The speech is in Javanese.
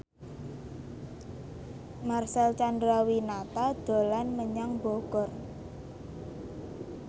Marcel Chandrawinata dolan menyang Bogor